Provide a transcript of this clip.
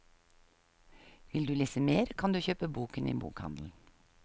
Vil du lese mer kan du kjøpe boken i bokhandelen.